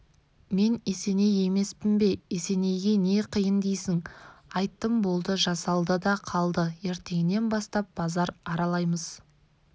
мен есеней емеспін бе есенейге не қиын дейсің айттым болды жасалды да қалды ертеңнен бастап базар аралаймыз